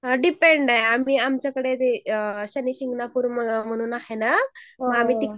अ depend आहे आम्ही आमच्याकडे ते अ शनिशिंगणापूर म्हणून आहे ना. म आम्ही